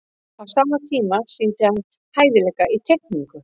á sama tíma sýndi hann hæfileika í teikningu